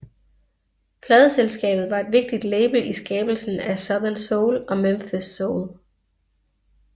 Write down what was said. Pladeselskabet var et vigtigt label i skabelsen af Southern soul og Memphis soul